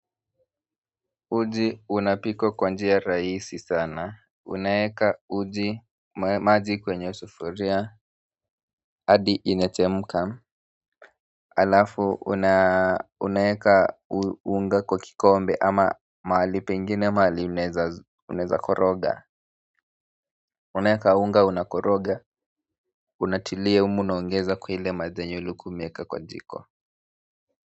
Uji unapikwa kwa njia rahisi sana. Unaeka uji maji kwenye sufuria adi inachemka, halafu unaweka unga kwa kikombe ama mahali pengine mahali unaeza koroga, unaeka unga unakoroga. Unatilia humu unaongeza kwa ile maji yenye ulikuwa umeeka kwa jiko.